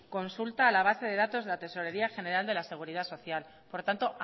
consulta a la base de datos de la tesorería general de la seguridad social por tanto